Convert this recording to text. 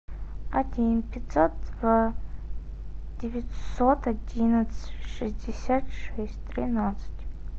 один пятьсот два девятьсот одиннадцать шестьдесят шесть тринадцать